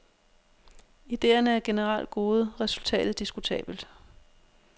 Idéerne er generelt gode, resultatet diskutabelt.